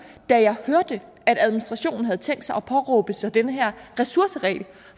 da jeg hørte at administrationen havde tænkt sig at påberåbe sig den her ressourceregel